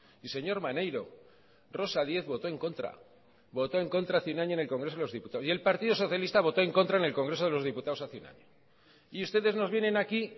y señor maneiro rosa díez votó en contra voto en contra en el congreso de los diputados y el partido socialista votó en contra en el congreso de los diputados hace un año y ustedes nos vienen aquí